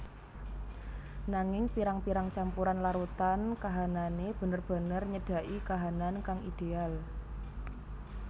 Nanging pirang pirang campuran larutan kahanane bener bener nyedaki kahanan kang ideal